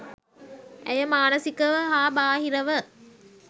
ඇය මානසිකව හා බාහිරව